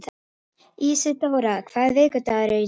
Ísidóra, hvaða vikudagur er í dag?